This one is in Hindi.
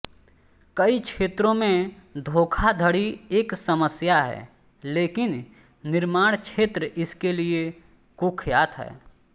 कई क्षेत्रों में धोखाधड़ी एक समस्या है लेकिन निर्माण क्षेत्र इसके लिए कुख्यात है